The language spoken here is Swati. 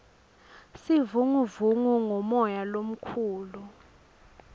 sivunguvungu ngumoya lomukhulu